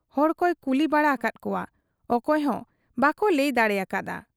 ᱦᱚᱲᱠᱚᱭ ᱠᱩᱞᱤ ᱵᱟᱲᱟ ᱟᱠᱟᱫ ᱠᱚᱣᱟ, ᱚᱠᱚᱭ ᱦᱚᱸ ᱵᱟᱠᱚ ᱞᱟᱹᱭ ᱫᱟᱲᱮᱭᱟᱠᱟ ᱦᱟᱫ ᱟ ᱾